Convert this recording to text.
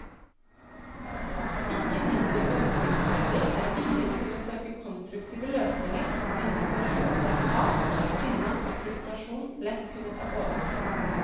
Ikke mindre beundringsverdig er viljen til å søke konstruktive løsninger i en situasjon der hat, sinne og frustrasjon lett kunne ta overhånd.